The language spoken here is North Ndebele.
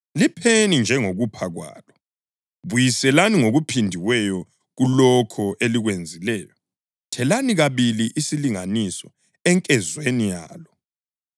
Lipheni njengokupha kwalo; buyiselani ngokuphindiweyo kulokho elikwenzileyo. Thelani kabili isilinganiso enkezweni yalo.